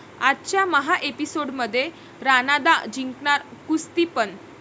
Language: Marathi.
आजच्या महाएपिसोडमध्ये राणादा जिंकणार कुस्ती पण...